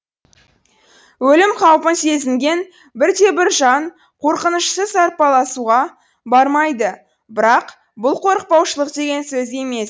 өлім қаупін сезінген бірде бір жан қорқынышсыз арпалысуға бармайды бірақ бұл қорықпаушылық деген сөз емес